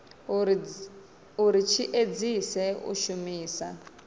uri tshi edzise u shumisa